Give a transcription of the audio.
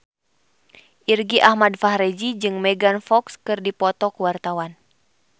Irgi Ahmad Fahrezi jeung Megan Fox keur dipoto ku wartawan